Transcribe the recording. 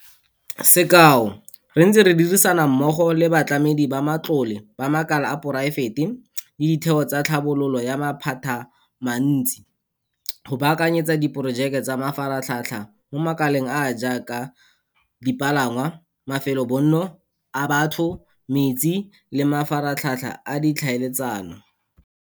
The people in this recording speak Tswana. Sekao, re ntse re dirisana mmogo le batlamedi ba matlole ba makala a poraefete le ditheo tsa tlhabololo ya maphatamantsi go baakanyetsa diporojeke tsa mafaratlhatlha mo makaleng a a jaaka dipalangwa, mafelobonno a batho, metsi le mafaratlhatlha a ditlhaeletsano.